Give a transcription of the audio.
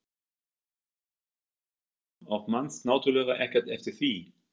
Heimir Már Pétursson: Og manst náttúrulega ekkert eftir því?